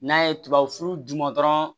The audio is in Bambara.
N'a ye tubabu d'u ma dɔrɔn